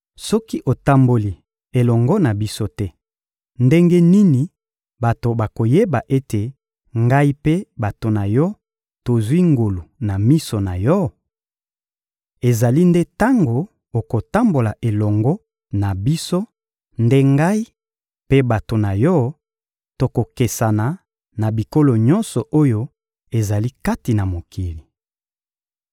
Soki otamboli elongo na biso te, ndenge nini bato bakoyeba ete ngai mpe bato na Yo tozwi ngolu na miso na Yo? Ezali nde tango okotambola elongo na biso nde ngai mpe bato na yo tokokesana na bikolo nyonso oyo ezali kati na mokili.